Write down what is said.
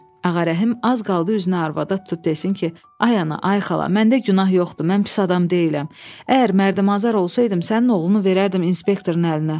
Ağa Rəhim az qaldı üzünü arvada tutub desin ki, ay ana, ay xala, məndə günah yoxdur, mən pis adam deyiləm, əgər mərdümazar olsaydım, sənin oğlunu verərdim inspektorun əlinə.